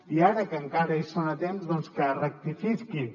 i ara que encara hi són a temps doncs que rectifiquin